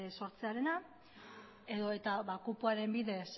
sortzearena edota kupoaren bidez